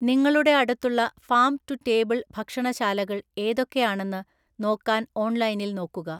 നിങ്ങളുടെ അടുത്തുള്ള farm to table ഭക്ഷണശാലകൾ ഏതൊക്കെയാണെന്ന് നോക്കാൻ ഓൺലൈനിൽ നോക്കുക.